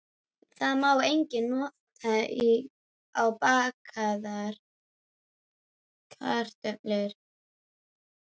Það má einnig nota á bakaðar kartöflur.